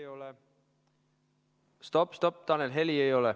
Stopp-stopp, Tanel, heli ei ole.